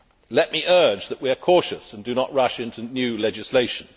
Let me urge that we are cautious and do not rush into new legislation.